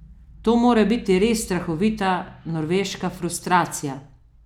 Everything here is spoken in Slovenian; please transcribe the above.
To mora biti res strahovita norveška frustracija!